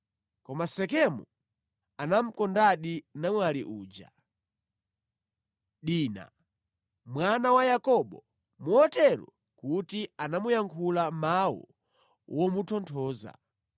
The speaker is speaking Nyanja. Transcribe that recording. Koma Sekemu anamukondadi namwali uja, Dina, mwana wa Yakobo motero kuti anamuyankhula mawu womutonthoza.